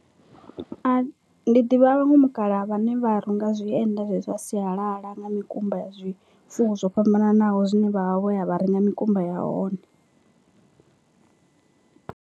Ndi ḓivha a vhaṅwe mukalaha vhane vha runga zwienda zwa sialala nga mikumba ya zwifuwo zwo fhambananaho zwine vha vha vho ya vha renga mikumba ya hone.